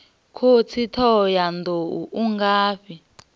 khosi thohoyanḓ ou u ngafhi